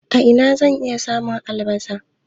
A ina zan iya samun albasa?